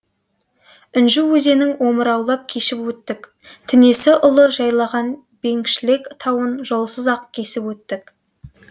інжу өзенін омыраулап кешіп өттік тінесі ұлы жайлаған беңгшлек тауын жолсыз ақ кесіп өттік